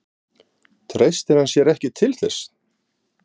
Treystir hann sér ekki til þess?